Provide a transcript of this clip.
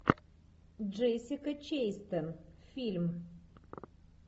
джессика честейн фильм